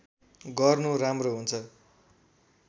गर्नु राम्रो हुन्छ